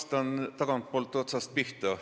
Vastan, hakates pihta tagantpoolt otsast.